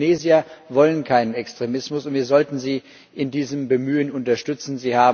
Die Tunesier wollen keinen Extremismus, und wir sollten sie in diesem Bemühen unterstützen.